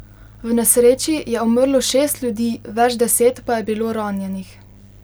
V nesreči je umrlo šest ljudi, več deset pa je bilo ranjenih.